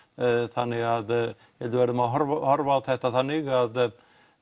þannig að ég við verðum að horfa á þetta þannig að